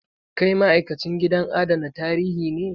Kai ma'aikacin gidajen adana tarihi ne?